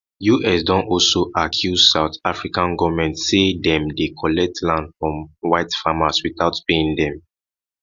us don also accuse south african goment say dem dey collect land from white farmers witout paying dem